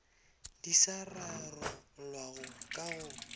di sa rarollwago ka go